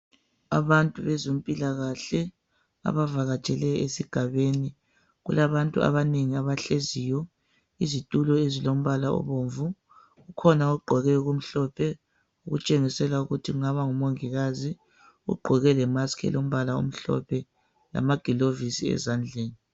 Abantu bezempilakahle abavakatshele esigabeni kulabantu abanengi abahleziyo izitulo ezilombala obomvu kukhona ogqqoke okumhlophe otshengisela ukuthi engaba ngumongikazi ugqoke le mask elombala omhlophe lamagilovisi ezandleni